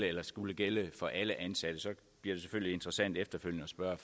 eller skulle gælde for alle ansatte bliver det selvfølgelig interessant efterfølgende at spørge